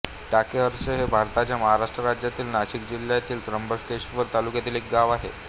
टाकेहर्ष हे भारताच्या महाराष्ट्र राज्यातील नाशिक जिल्ह्यातील त्र्यंबकेश्वर तालुक्यातील एक गाव आहे